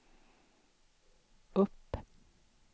upp